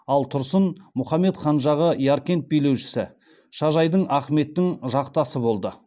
ал тұрсын мұхаммед хан жағы яркент билеушісі шажайдің ахметтің жақтасы болды